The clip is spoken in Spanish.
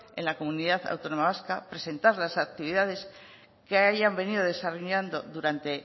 en la comunidad autónoma vasca presentar las actividades que hayan venido desarrollando durante